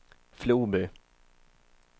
Floby